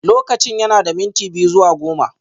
Lokacin yana da minti biyu zuwa goma